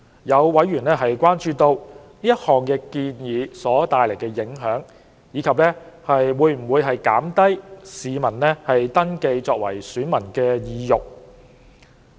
有委員關注到，該項建議所帶來的影響，以及會否減低市民登記為選民的意欲。